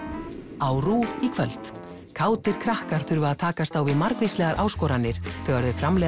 á RÚV í kvöld kátir krakkar þurfa að takast á við margvíslegar áskoranir þegar þau framleiða